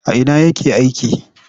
A ina yake aiki?